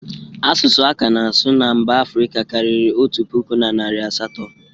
Asụsụ a ka na-asụ na mba Afrika kariri otu pụkụ, na narị asatọ.